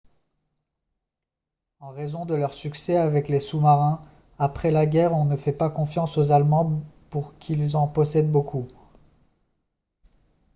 en raison de leur succès avec les sous-marins après la guerre on ne fait pas confiance aux allemands pour qu'ils en possèdent beaucoup